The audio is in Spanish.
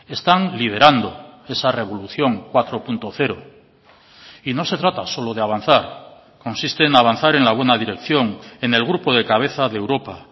están liderando esa revolución cuatro punto cero y no se trata solo de avanzar consiste en avanzar en la buena dirección en el grupo de cabeza de europa